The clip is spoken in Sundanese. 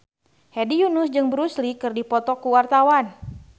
Hedi Yunus jeung Bruce Lee keur dipoto ku wartawan